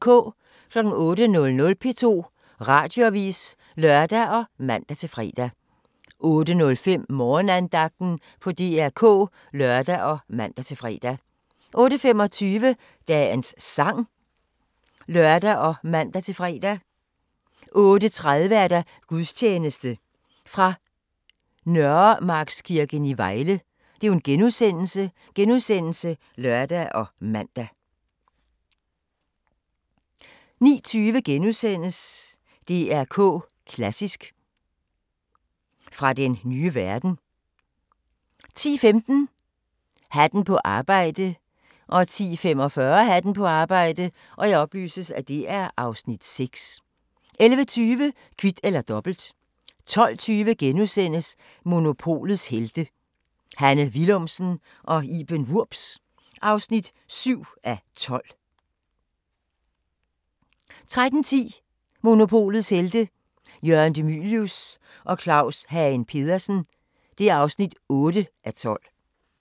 08:00: P2 Radioavis (lør og man-fre) 08:05: Morgenandagten på DR K (lør og man-fre) 08:25: Dagens sang (lør og man-fre) 08:30: Gudstjeneste fra Nørremarkskirken i Vejle *(lør og man) 09:20: DR K Klassisk: Fra den nye verden * 10:15: Hatten på arbejde 10:45: Hatten på arbejde (Afs. 6) 11:20: Kvit eller Dobbelt 12:20: Monopolets Helte – Hanne Willumsen og Iben Wurbs (7:12)* 13:10: Monopolets Helte – Jørgen De Mylius og Claus Hagen Petersen (8:12)